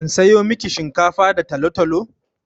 In sayo miki shinkafa da talo-talo?